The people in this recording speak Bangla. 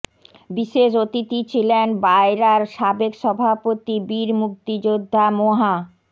বিশেষ অতিথি ছিলেন বায়রার সাবেক সভাপতি বীর মুক্তিযোদ্ধা মোহা